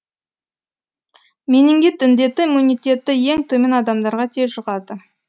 менингит індеті иммунитеті ең төмен адамдарға тез жұғады